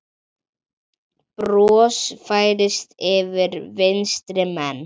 Bros færist yfir vinstri menn.